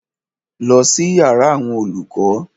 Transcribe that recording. Lọ sí yàrá àwọn olùkọ́!